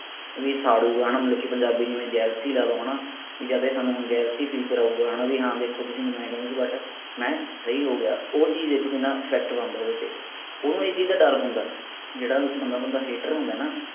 ਵੀ ਸਾੜੁਗਾ ਹਣਾ ਮਤਲਬ ਕਿ ਪੰਜਾਬੀ ਚ ਜਿਵੇਂ jealousy ਲਾ ਲਓ ਹਣਾ ਵੀ ਯਾ ਤਾਂ ਹੁਣ ਇਹ ਸਾਨੂ jealousy feel ਕਰਾਉਗਾ ਹਣਾ ਵੀ ਹਾਂ ਦੇਖੋ ਤੁਸੀਂ ਮੈਨੂੰ ਆਏਂ ਕਹਿੰਦੇ ਸੀ but ਮੈਂ ਸਹੀ ਹੋ ਗਿਆ ਉਹ ਚੀਜ ਦੇਖੋ ਕਿੰਨਾ effect ਬਣਦਾ ਓਹਦੇ ਤੇ ਓਹਨੂੰ ਇਹ ਚੀਜ ਦਾ ਡਰ ਹੁੰਦਾ ਜਿਹੜਾ ਬੰਦਾ ਥੋਡਾ hater ਹੁੰਦਾ ਨਾ